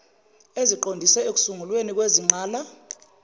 eziqondiswe ekusungulweni kwezingqala